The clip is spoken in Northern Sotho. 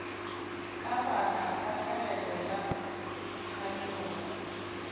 ka baka tahlegelo ya kganyogo